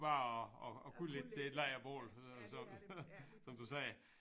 Bare at at kunne lidt til et lejrbål øh som du sagde